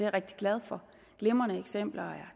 rigtig glad for glimrende eksempler